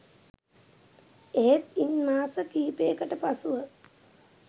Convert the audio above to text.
එහෙත් ඉන් මාස කිහිපයකට පසුව